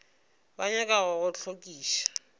ba nyaka go go hlokiša